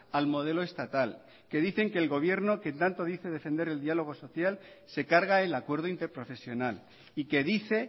al modelo estatal que dicen que el gobierno que tanto dice defender el diálogo social se carga el acuerdo interprofesional y que dice